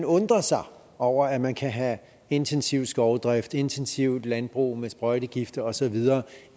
undrer sig over at man kan have intensiv skovdrift intensivt landbrug med sprøjtegifte og så videre